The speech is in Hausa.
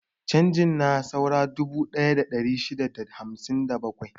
Canji na saura dubu ɗaya da ɗari shida da hamsin da bakwai.